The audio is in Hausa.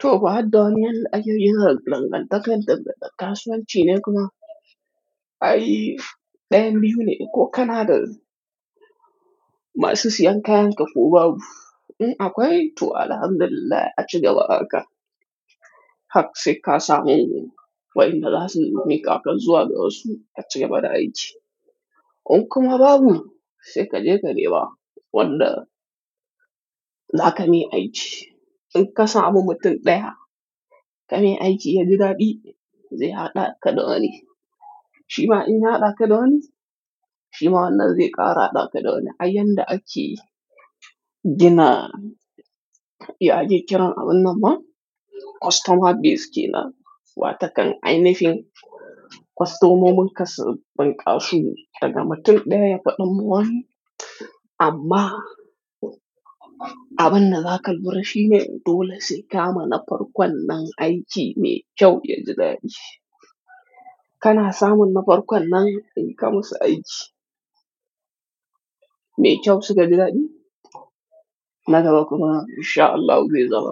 To ba haɗɗon yadda ake yin dangantakar daga ɗan kasuwanci ne kuma? Ai, ɗayan biyu ne ko kana da masu siyan kayanka ko babu? Mm, akwai to alhamdulillah ace gaba aka. Haka sai ka samu wayanda za su miƙa kan zuwa da wasu ka cika bada aiki. In kuma babu, sai ka je ka nema wanda za ka mi aiki. In ka samu mutum ɗaya ka mi aiki ya ji daɗi, zai haɗa ka da wani. Shima in ya haɗa ka da wani, shima wannan zai ƙara haɗa ka da wani. Har yadda ake gina ya ake kira a wannan ma? Customer base ke nan. Wata kan ainihin customominka su banƙasi daga mutum ɗaya faɗin mu wani. Amma, abin da zaka lura shi ne dole sai ka mana farkon nan aiki mai kyau ya ji daɗi. Kana samun na farkon nan in ka masa aiki mai kyau suka ji daɗi, na gaba kuma in sha Allahu bai zama